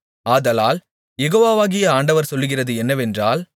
ஆதலால் யெகோவாகிய ஆண்டவர் சொல்லுகிறது என்னவென்றால்